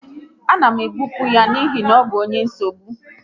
A na m ebipụ ya n'ihi ọ bụ onye mkpagbu